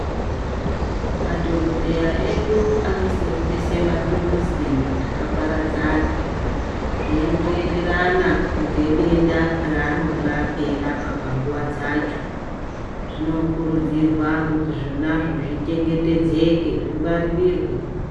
Madhokodheya edu anoseenzese mathuruzi akaparadzana zviendoenderana ngedenda raanonga eirapa panguwa dzacho. Zvinokurudzirwa kuti zvonazvo zvichengetedzwe, zvingwaririrwe.